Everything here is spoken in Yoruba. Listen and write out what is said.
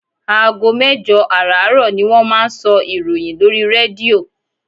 Aago mẹ́jọ àràárọ̀ ni wọ́n máa ń sọ ìròyìn lórí rédíò.